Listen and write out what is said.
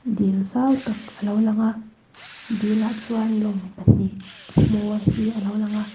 dil zau tak a lo lang a dilah chuan lawng pahnih hmawr hi a lo lang a.